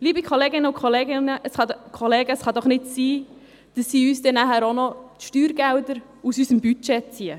Liebe Kolleginnen und Kollegen: Es kann doch nicht sein, dass sie uns dann auch noch die Steuergelder aus unserem Budget ziehen!